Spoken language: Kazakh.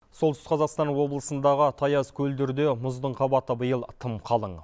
солтүстік қазақстан облысындағы таяз көлдерде мұздың қабаты биыл тым қалың